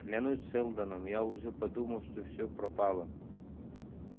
клянусь сэлдоном я уже подумал что всё пропало